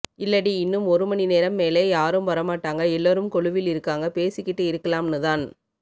இல்லடி இன்னும் ஒரு மணி நேரம் மேலே யாரும் வர மாட்டாங்க எல்லோரும் கொலுவில் இருக்காங்க பேசிகிட்டு இருக்கலாம்னு தான்